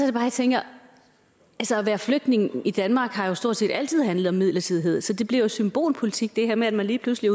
det bare jeg tænker altså at være flygtning i danmark har jo stort set altid handlet om midlertidighed så det bliver jo symbolpolitik det her med at man lige pludselig